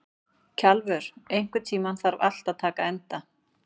Kjalvör, einhvern tímann þarf allt að taka enda.